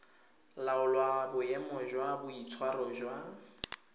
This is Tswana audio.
laola boemo jwa boitshwaro jwa